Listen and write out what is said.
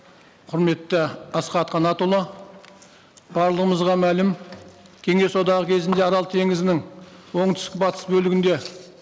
құрметті асхат қанатұлы барлымызға мәлім кеңес одағы кезінде арал теңізінің оңтүстік батыс бөлігінде